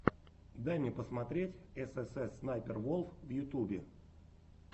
дай мне посмотреть эс эс эс снайпер волф в ютюбе